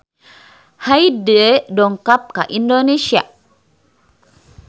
Hyde dongkap ka Indonesia